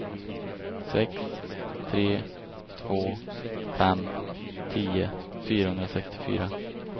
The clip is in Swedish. sex tre två fem tio fyrahundrasextiofyra